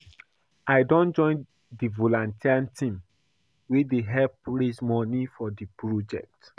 I don join di volunteer team wey dey help raise moni for di project.